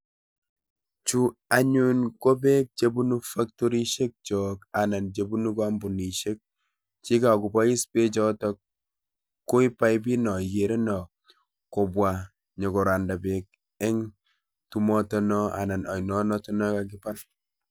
Chu anyun kobeek chebunu faktorisiekchok anan chebunu kampunisiek, chekokobois bechu koib paiput non ikere non, kobwa korandaa beek en onon noon nekakibal